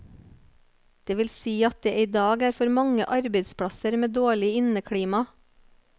Det vil si at det i dag er for mange arbeidsplasser med dårlig inneklima.